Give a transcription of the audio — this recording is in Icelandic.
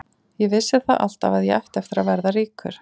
Ég vissi það alltaf að ég ætti eftir að verða ríkur.